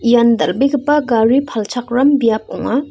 ian dal·begipa gari palchakram biap ong·a.